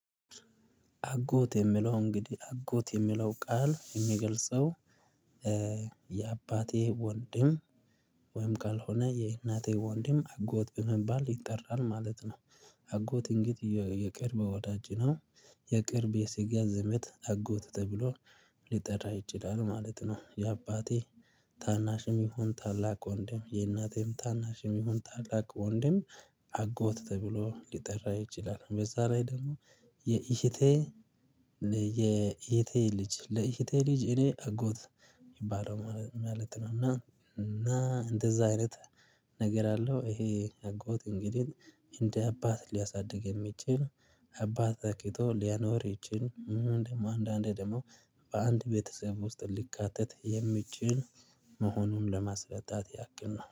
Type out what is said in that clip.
አጎት የሚለው እንግዲህ አጎት የሚለው ቃል የሚገልጸው የአባቴ ወንድም ወይም ካልሆነ የእናቴ ወንድም አጎት በመባል ይጠራል ማለት ነው። አጎት እንግዲህ የቅርብ ወዳጅ ነው። የቅርብ የስጋ ዘመድ አጎት ተብሎ ሊጠራ ይችላል ማለት ነው። የአባቴ ታናሽም ይሁን ታላቅ ወንድም የእናቴም ታናሽም ይሁን ታላቅ ወንድም አጎት ተብሎ ሊጠራ ይችላል በዛ ላይ ደግሞ የእህቴ ልጅ ለእህቴ ልጅ እኔ አጎት የሚባለው ማለት ነው። እና እና እንደዛ አይነት ነገር አለው ይሄ አጎት እንግዲህ እንደ አባት ሊያሳድግ የሚችል አባትን ተክቶ ሊያኖር የሚችል እንደውም አንዳንዴ ደግሞ በአንድ ቤተሰብ ውስጥ ሊካተት የሚችል መሆኑን ለማስረዳት ያክል ነው